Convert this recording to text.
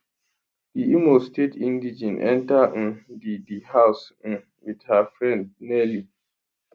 di imo state indigene enta um di di house um wit her friend nelly